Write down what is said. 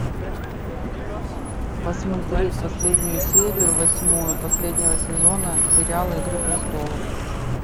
посмотреть последнюю серию восьмую последнего сезона сериала игры престолов